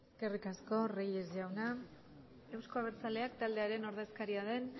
eskerrik asko reyes jauna eusko abertzaleak taldearen ordezkaria den